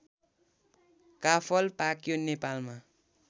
काफल पाक्यो नेपालमा